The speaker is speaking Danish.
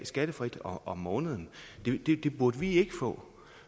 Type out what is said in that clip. skattefrit om måneden det burde vi ikke få